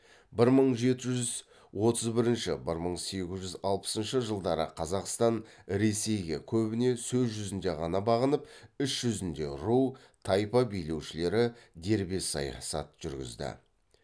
бір мың жеті жүз отыз бірінші бір мың сегіз жүз алпысыншы жылдары қазақстан ресейге көбіне сөз жүзінде ғана бағынып іс жүзінде ру тайпа билеушілері дербес саясат жүргізді